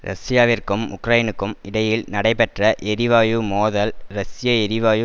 ரஷ்யாவிற்கும் உக்ரைனுக்கும் இடையில் நடைபெற்ற எரிவாயு மோதல் ரஷ்ய எரிவாயு